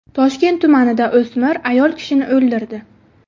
Toshkent tumanida o‘smir ayol kishini o‘ldirdi.